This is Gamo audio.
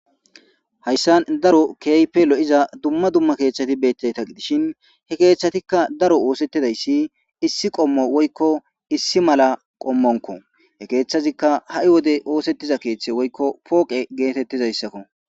hayssan daro kehipe lo7iza dumma dumma keeththati bettayta gidishin he keeththatikka daro oosetidayssi issi qommo woykko issi mala qommonko he keeththazikka ha7i wodey oosettiza keeththe woykko pooqe geetettizayssakko